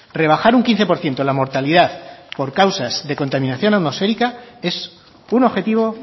rebajar un quince por ciento la mortalidad por causas de contaminación atmosférica es un objetivo